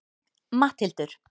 Matthildur